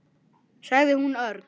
sagði hún örg.